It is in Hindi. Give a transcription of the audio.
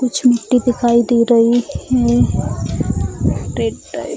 कुछ मिट्टी दिखाई दे रही है रेड टाइप ।